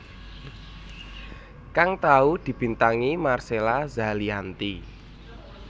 kang tau dibintangi Marcella Zalianty